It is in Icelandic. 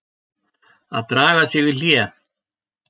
AÐ DRAGA SIG Í HLÉ.